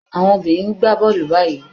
Àwọn obìnrin ń gba bọ́ọ́lù báyìí.